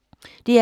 DR K